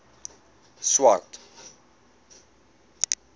swart